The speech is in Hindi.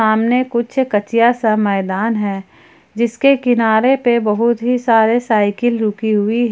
सामने कुछ कच्चिया सा मैदान है जिसके किनारे पे बहुत ही सारे साइकिल रुकी हुई--